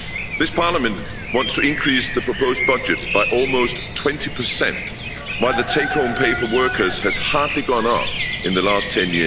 This Parliament wants to increase the proposed budget by almost 20, while the take home pay for workers has hardly gone up in the last 10